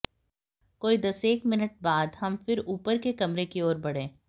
कोई दसेक मिनट बाद हम फिर ऊपर के कमरे की ओर बढ़े